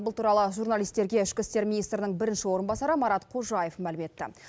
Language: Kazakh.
бұл туралы журналистерге ішкі істер министрдің бірінші орынбасары марат қожаев мәлім етті